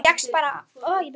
Þú fékkst bara áfall!